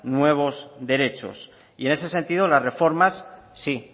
nuevos derechos y en ese sentido sí las reformas